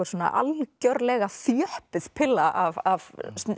algjörlega þjöppuð pilla af